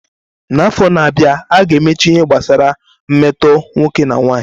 N'afọ na-abịa, a ga-emechi ihe gbasara mmetọ nwoke na nwanyị.